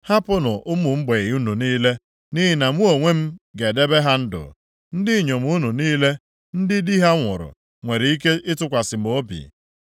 ‘Hapụnụ ụmụ mgbei unu niile, nʼihi na mụ onwe m ga-edebe ha ndụ. Ndị inyom unu niile ndị di ha nwụrụ nwere ike ịtụkwasị m obi.’ ”